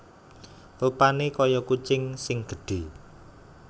Rupané kaya kucing sing gedhé